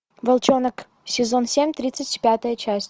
волчонок сезон семь тридцать пятая часть